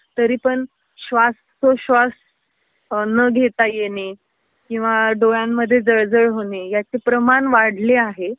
तरीपण श्वास तो श्वास न घेता येणे किवा डोळ्यांमध्ये जळजळ होणे, याचे प्रमाण वाढले आहे